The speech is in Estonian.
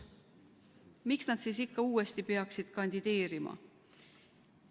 Miks nad siis ikka uuesti peaksid kandideerima?